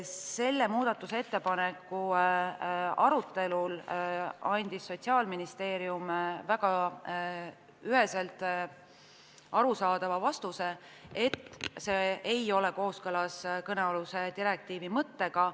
Selle ettepaneku arutelul andis Sotsiaalministeerium väga üheselt arusaadava vastuse, et see ei ole kooskõlas kõnealuse direktiivi mõttega.